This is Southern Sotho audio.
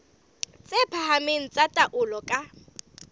tse phahameng tsa taolo ka